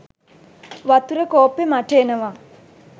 වතුර කෝප්පෙ මට එනවා.